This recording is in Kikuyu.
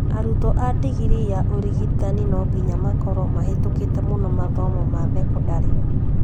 Arutwo a ndingirii ya ũrigitani no nginya makorwo mahetũkite mũno mathomo ma thekondarĩ